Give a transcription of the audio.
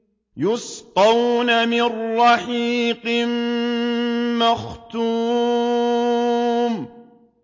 يُسْقَوْنَ مِن رَّحِيقٍ مَّخْتُومٍ